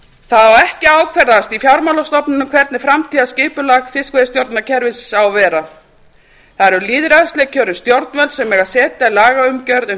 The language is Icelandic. það á ekki að ákvarðast í fjármálastofnunum hvernig framtíðarskipulag fiskveiðistjórnarkerfisins á að vera það eru lýðræðislega kjörin stjórnvöld sem eiga að setja lagaumgjörð um